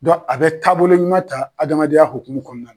a bɛ taabolo ɲuman ta adamadenya hokumu kɔnɔna na.